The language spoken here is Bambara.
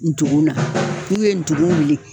Ndugun na, n'u ye ndugu wuli.